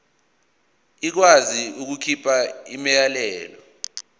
ikwazi ukukhipha umyalelo